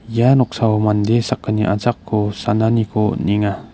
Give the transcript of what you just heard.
ia noksao mande sakgni achako sananiko on·enga.